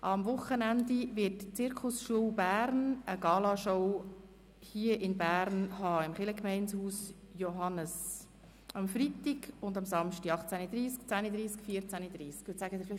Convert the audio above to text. Am Wochenende wird die Zirkusschule Bern eine Galashow im Kirchgemeindehaus Johannes in Bern veranstalten, am Freitag und am Samstag jeweils um 18.30 Uhr, 10.30 Uhr und 14.30 Uhr.